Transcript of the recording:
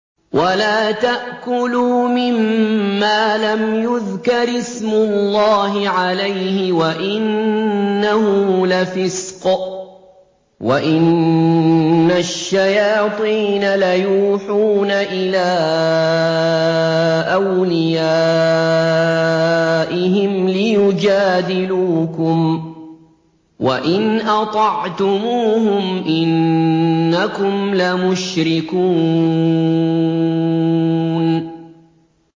وَلَا تَأْكُلُوا مِمَّا لَمْ يُذْكَرِ اسْمُ اللَّهِ عَلَيْهِ وَإِنَّهُ لَفِسْقٌ ۗ وَإِنَّ الشَّيَاطِينَ لَيُوحُونَ إِلَىٰ أَوْلِيَائِهِمْ لِيُجَادِلُوكُمْ ۖ وَإِنْ أَطَعْتُمُوهُمْ إِنَّكُمْ لَمُشْرِكُونَ